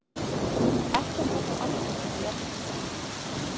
Ekkert er þó algilt í því efni.